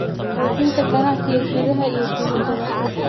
Xoojinta ganacsiga gudaha iyo dibadda.